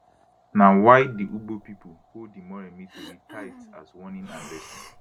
na why di ugbo pipo hold di moremi tori tight as warning and lesson